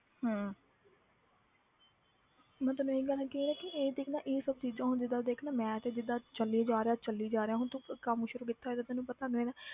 ਹਮ ਮੈਂ ਤੈਨੂੰ ਇਹੀ ਗੱਲ ਕਹੀ ਹੈ ਕਿ ਇਹ ਦੇਖ ਨਾ ਇਹ ਸਭ ਚੀਜ਼ਾਂ ਹੁਣ ਜਿੱਦਾਂ ਦੇਖ ਨਾ ਮੈਂ ਤੇ ਜਿੱਦਾਂ ਚੱਲੀ ਜਾ ਰਿਹਾ ਚੱਲੀ ਜਾ ਰਿਹਾ ਹੁਣ ਤੂੰ ਕੰਮ ਸ਼ੁਰੂ ਕੀਤਾ ਹੋਇਆ ਤੇ ਤੈਨੂੰ ਪਤਾ ਹੋਏਗਾ